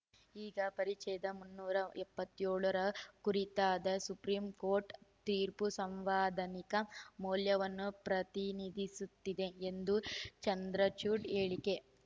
ಈಗ ಪರಿಚ್ಛೇದ ಮುನ್ನೂರ ಎಪ್ಪತ್ತ್ ಏಳರ ಕುರಿತಾದ ಸುಪ್ರೀಂ ಕೋರ್ಟ್‌ ತೀರ್ಪು ಸಾಂವಿಧಾನಿಕ ಮೌಲ್ಯವನ್ನು ಪ್ರತಿನಿಧಿಸುತ್ತದೆ ಎಂದು ಚಂದ್ರಚೂಡ್‌ ಹೇಳಿಕೆ